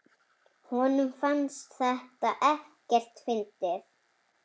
Honum fannst þetta ekkert fyndið.